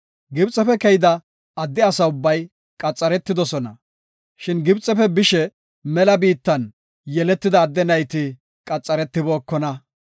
Gibxefe keyida adde asa ubbay, qaxaretidosona, shin Gibxefe bishe mela biittan yeletida adde nayti qaxaretibookona.